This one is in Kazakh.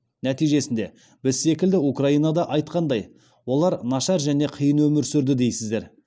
нәтижесінде біз секілді украинада айтқандай олар нашар және қиын өмір сүрді дейсіздер